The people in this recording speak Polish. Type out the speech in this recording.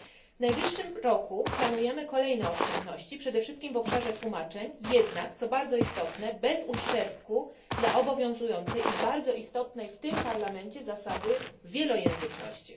W najbliższym roku planujemy kolejne oszczędności, przede wszystkim w obszarze tłumaczeń, jednak co bardzo istotne bez uszczerbku dla obowiązującej i bardzo istotnej w tym Parlamencie zasady wielojęzyczności.